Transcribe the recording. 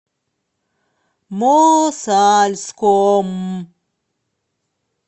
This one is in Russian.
мосальском